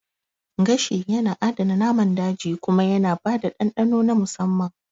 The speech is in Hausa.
Gashi yana adana naman daji kuma yana ba da dandano na musamman